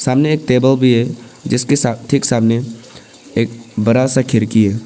सामने एक टेबल भी है जिसके ठीक सामने